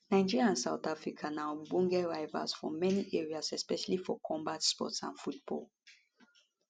nigeria and south africa na ogbonge rivals for many areas especially for combat sports and football